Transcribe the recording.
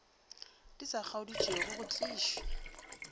di sa kgodišego go tlišwe